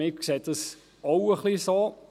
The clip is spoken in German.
Wir sehen dies ähnlich.